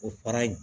O para in